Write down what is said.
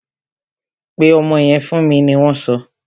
Pe ọmọ yẹn fún mi! ni wọn so.